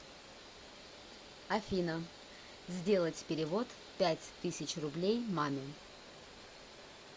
афина сделать перевод пять тысяч рублей маме